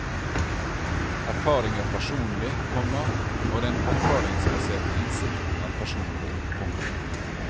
Erfaring er personlig, komma og den erfaringsbaserte innsikten er personlig. punktum